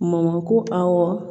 Mɔnko awɔ